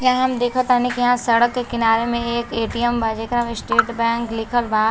यहाँँ हम देख तनी। यहाँँ सड़क के किनारे मे एक ए.टी.म बा। जेकरा मे स्टेट बैंक लिखल बा।